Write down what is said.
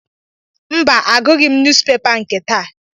Mba, agụghị m nuuzpepa nke taa